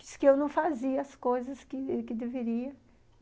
Diz que eu não fazia as coisas que que deveria.